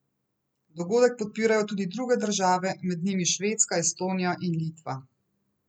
Dogodek podpirajo tudi druge države, med njimi Švedska, Estonija in Litva.